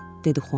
dedi Xuan.